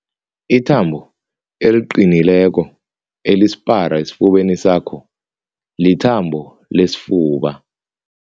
Ithambo eliqinileko elisipara esifubeni sakho lithambo lesifuba.